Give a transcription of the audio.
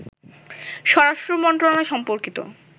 স্বরাষ্ট্র মন্ত্রণালয় সম্পর্কিত